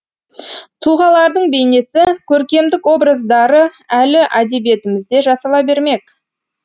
тұлғалардың бейнесі көркемдік образдары әлі әдебиетімізде жасала бермек